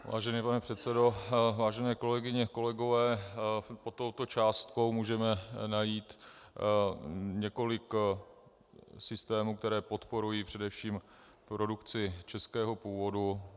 Vážený pane předsedo, vážené kolegyně, kolegové, pod touto částkou můžeme najít několik systémů, které podporují především produkci českého původu.